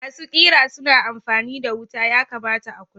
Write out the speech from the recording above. Masu ƙera suna amfani da wuta, yakamata a kula.